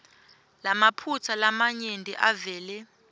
lamaphutsa lamanyenti avele